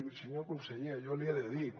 i senyor conseller jo li he de dir